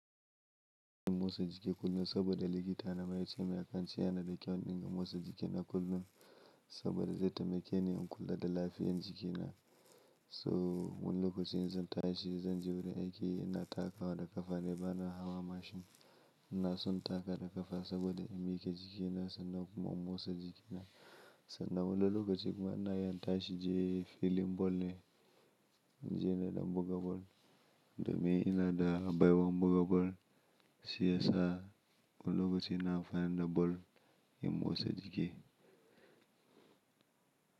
Ina motsa jiki kullum saboda likita na maye ce mai akanci yana da kyau in dinga motsa jikina kullum saboda zai taimake ni in kula da lafiyar jikina. So wani lokacin zan tashi zan je wurin aiki ina taka da ƙafa ne bana hawa mashin. Ina son taka da ƙafa saboda in miƙe jikina sannan kuma in motsa jikina. Sannan wani lokaci kuma ina yin tashi in je filin ball ne, inje na don buga ball domin ina da baiwan buga ball. Shi yasa wani lokacin na amfani da ball in motsa jiki.